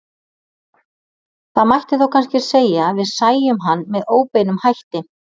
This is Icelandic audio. Það mætti þá kannski segja að við sæjum hann með óbeinum hætti.